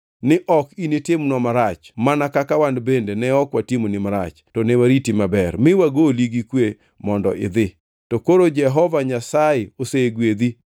ni ok initimnwa marach mana kaka wan bende ne ok watimoni marach to ne wariti maber mi wagoli gi kwe mondo idhi. To koro Jehova Nyasaye osegwedhi.”